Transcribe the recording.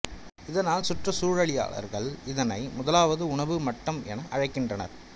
இததனால் சுற்றுச்சூழலியலாளார்கள் இதனை முதலாவது உணவு மட்டம் என அழைகின்றனர்